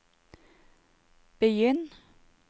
begynn